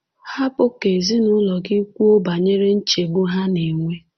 Hapụ ka ezinụụlọ gị kwuo banyere nchegbu ha na-enwe.